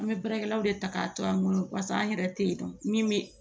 An bɛ baarakɛlaw de ta k'a to an bolo pase an yɛrɛ tɛ yen dɔn min bɛ